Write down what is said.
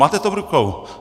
Máte to v rukou!